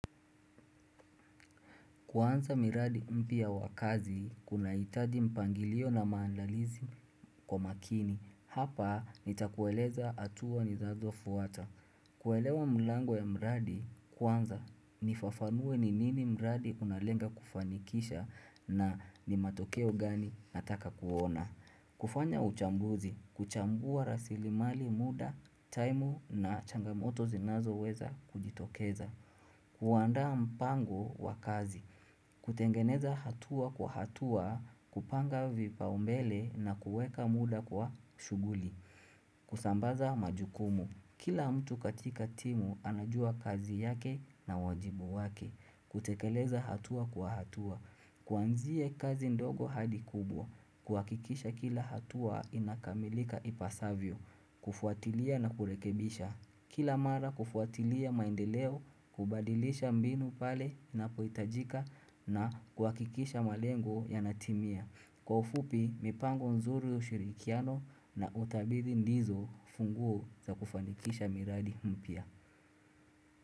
Kuanza miradi mpya wa kazi, kunahitaji mpangilio na maandalizi kwa makini. Hapa, nitakueleza hatua nizazofuata. Kuelewa mlango ya mradi, kwanza nifafanue ni nini mradi unalenga kufanikisha na ni matokeo gani nataka kuona. Kufanya uchambuzi, kuchambua rasili mali muda, time na changamoto zinazoweza kujitokeza. Kuandaa mpango wa kazi. Kutengeneza hatua kwa hatua, kupanga vipaa umbele na kueka muda kwa shughuli. Kusambaza majukumu. Kila mtu katika timu anajua kazi yake na wajibu wake. Kutekeleza hatua kwa hatua. Kuanza miradi mpia wakazi, kuna hitadi mpangilio na maandalizi kwa makini. Kuhakikisha kila hatua inakamilika ipasavyo. Kufuatilia na kurekebisha. Kila mara kufuatilia maendeleo, kubadilisha mbinu pale inapohitajika na kuhakikisha malengo yanatimia. Kwa ufupi, mipango nzuri ushirikiano na utabiri ndizo funguo za kufanikisha miradi mpya.